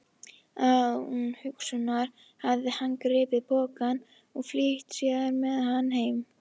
Án umhugsunar hafði hann gripið pokann og flýtt sér með hann heim.